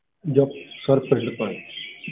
ਜੀ sir ਪਿੰਡ ਤੋਂ ਹਾਂ ਜੀ।